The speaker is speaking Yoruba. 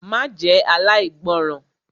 Má jẹ́ aláìgbọràn!